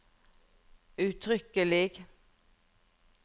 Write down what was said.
uttrykkelig